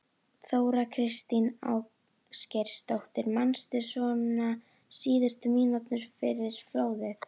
Þóra Kristín Ásgeirsdóttir: Manstu svona síðustu mínúturnar fyrir flóðið?